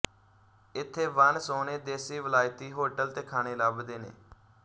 ਇੱਥੇ ਵਣ ਸੋਹਣੇ ਦੇਸੀ ਵਲਾਇਤੀ ਹੋਟਲ ਤੇ ਖਾਣੇ ਲੱਭਦੇ ਨੇ